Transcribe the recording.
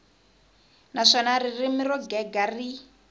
naswona ririmi ro gega ri